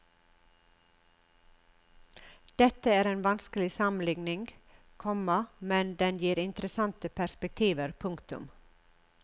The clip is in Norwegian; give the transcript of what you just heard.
Dette er en vanskelig sammenligning, komma men den gir interessante perspektiver. punktum